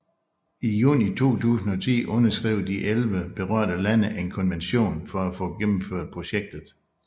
I juni 2010 underskrev de elleve berørte lande en konvention for at få gennemført projektet